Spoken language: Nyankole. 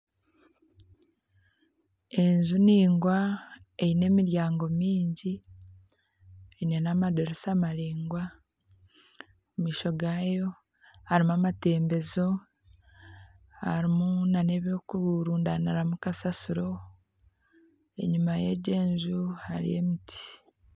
Enju ndaingwa eine emiryango mingi eine n'amadiirisa maraingwa omumaisho gayo harimu amatembezo harimu na n'eby'okurundaniramu kasasiro enyuma y'egi enju hariyo emiti.